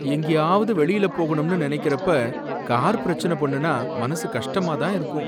எங்கேயாவது வெளியில போகணும்னு நனைக்கறப்ப, கார் பிரச்சனை பண்ணுனா மனசு கஷ்டமா தான் இருக்கும்.